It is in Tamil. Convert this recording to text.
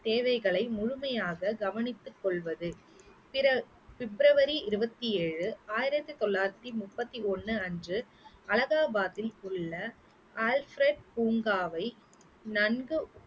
தேவைகளை முழுமையாக கவனித்துக் கொள்வது பிற~ பிப்ரவரி இருபத்தி ஏழு ஆயிரத்தி தொள்ளாயிரத்தி முப்பத்தி ஒண்ணு அன்று அலகாபாத்தில் உள்ள அல்ஃப்ரட் பூங்காவை நன்கு